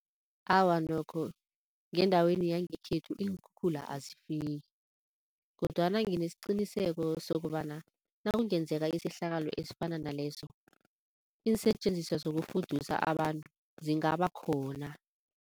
Awa nokho, ngendaweni yangekhethu iinkhukhula azifiki kodwana nginesiqiniseko sokobana nakungenzeka isehlakalo esifana naleso iinsetjenziswa zokufudusa abantu zingaba khona.